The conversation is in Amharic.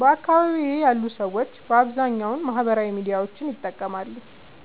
በአካባቢየ ያሉ ሰዎች በአብዛኛዉ ማህበራዊ ሚዲያዎችን ይጠቀማሉ።